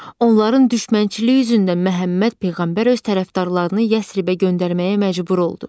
Onların düşmənçiliyi üzündən Məhəmməd peyğəmbər öz tərəfdarlarını Yəsribə göndərməyə məcbur oldu.